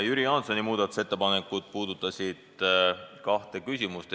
Jüri Jaansoni ettepanekud puudutasid kahte küsimust.